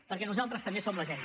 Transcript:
perquè nosaltres també som la gent